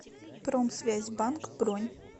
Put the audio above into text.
промсвязьбанк бронь